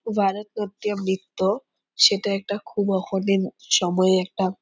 ভারত নাট্যম নৃত্য সেটা একটা খুব অল্প দিন সময়ে একটা--